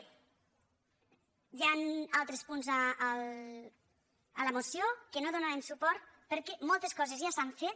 hi han altres punts a la moció als quals no hi donarem suport perquè moltes coses ja s’han fet